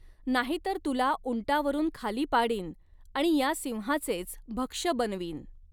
नाहीतर तुला उंटावरुन खाली पाडीन आणि या सिंहाचेच भक्ष्य बनवीन.